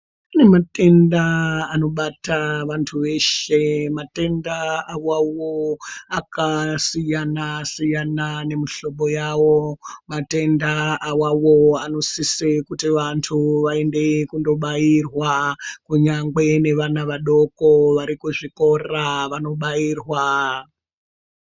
Kune matenda anobata vantu veshe. Matenda awawo akasiyana-siyana nemuhlobo yawo. Matenda awawo anosise kuti vantu vaende kundobairwa, kunyangwe nevana vadoko vari kuzvikora vanobairwa.